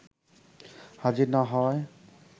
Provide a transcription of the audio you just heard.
হাজির না হওয়ায়